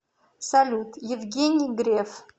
салют евгений греф